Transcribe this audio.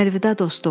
Əlvida dostum.